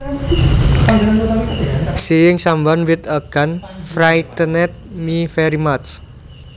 Seeing someone with a gun frightened me very much